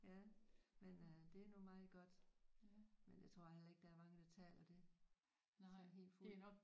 Ja men øh det er nu meget godt men jeg tror heller ikke der er mange der taler det sådan helt fuldt